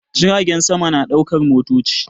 Jiragen sama na ɗaukar motoci